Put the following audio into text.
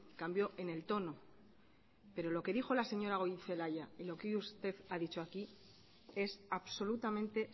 cambió en el tono pero lo que dijo la señora goirizelaia y lo que hoy usted ha dicho aquí es absolutamente